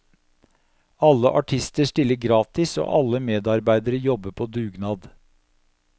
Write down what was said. Alle artister stiller gratis, og alle medarbeidere jobber på dugnad.